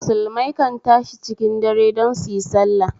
Musulmai kan tashi cikin dare don suyi sallah